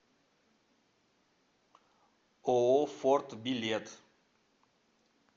ооо форт билет